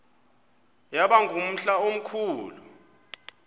yaba ngumhla omkhulu